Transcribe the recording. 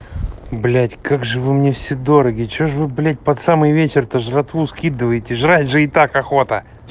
блять как же вы мне все дороги что ж вы блять под самый вечер так жратву скидываете жрать же и так охота